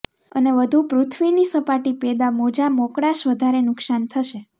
અને વધુ પૃથ્વીની સપાટી પેદા મોજા મોકળાશ વધારે નુકસાન થશે